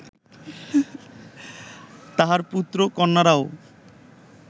তাঁহার পুত্র-কন্যারাও